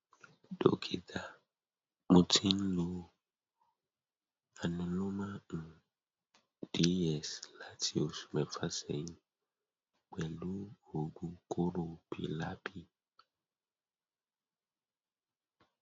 dọkítà mo ti ń lo anuloma um ds láti oṣù mẹfà sẹyìn pẹlú um oògun kóró pylapy